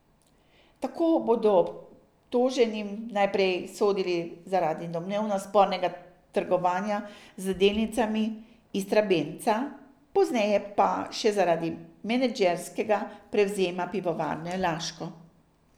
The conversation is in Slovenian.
Tako bodo obtoženim najprej sodili zaradi domnevno spornega trgovanja z delnicami Istrabenza, pozneje pa še zaradi menedžerskega prevzema Pivovarne Laško.